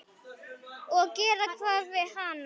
Og gera hvað við hann?